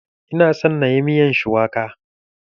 Ina son inyi miyar shuwaka.